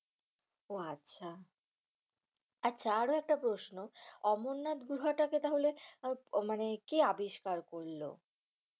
উহ আচ্ছা। আচ্ছা আরো একটা প্রশ্ন, অমরনাথ গুহাটাকে তাহলে মানে কে আবিষ্কার করলো?